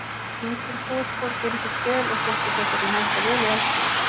Hvítur fosfór geymdist vel og þótti þess vegna henta vel í eldspýtur.